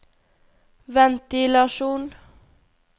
ventilasjon